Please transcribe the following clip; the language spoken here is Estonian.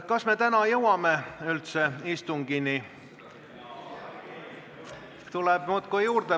Kas me täna üldse jõuame istungini?